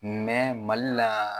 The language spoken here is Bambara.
Mali la